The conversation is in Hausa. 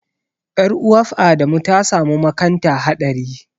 Ƴar'uwaf Adamu ta samu makanta haɗari.